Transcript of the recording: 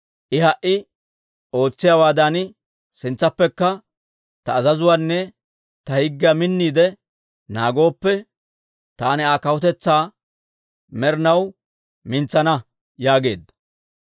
I ha"i ootsiyaawaadan sintsappekka ta azazuwaanne ta higgiyaa minniide naagooppe, taani Aa kawutetsaa med'inaw mintsana› yaageedda.